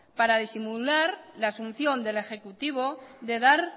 para disimular la asunción del ejecutivo de dar